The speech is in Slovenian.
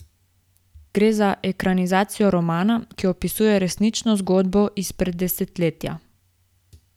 Gre za ekranizacijo romana, ki opisuje resnično zgodbo izpred desetletja.